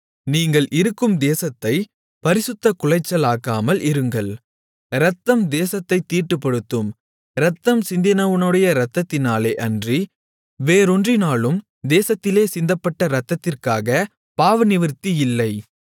நீங்கள் இருக்கும் தேசத்தைப் பரிசுத்தக் குலைச்சலாக்காமல் இருங்கள் இரத்தம் தேசத்தைத் தீட்டுப்படுத்தும் இரத்தம் சிந்தினவனுடைய இரத்தத்தினாலே அன்றி வேறொன்றினாலும் தேசத்திலே சிந்தப்பட்ட இரத்தத்திற்காகப் பாவநிவிர்த்தியில்லை